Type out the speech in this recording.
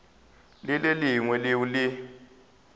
le le lengwe leo le